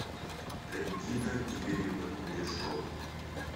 регина игоревна кудряшова